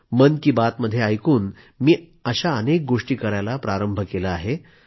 मन की बात मध्ये ऐकून मी अनेक गोष्टी करायला प्रारंभ केला आहे